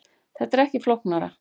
Þetta er ekki flóknara